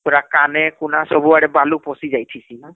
ପୁରା କାନେ କୁନା ସବୁ ବାଲି ପସିଜାଇସୀ ନା